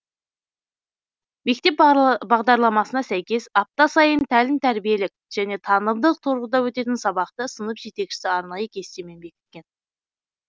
мектеп бағдарламасына сәйкес апта сайын тәлім тәрбиелік және танымдық тұрғыда өтетін сабақты сынып жетекшісі арнайы кестемен бекіткен